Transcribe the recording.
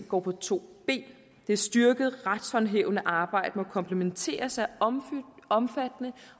går på to ben det styrkede retshåndhævende arbejde må kompletteres af omfattende